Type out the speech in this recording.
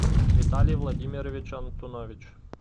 виталий владимирович антунович